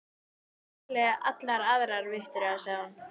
Þú getur valið allar aðrar, Viktoría, sagði hún.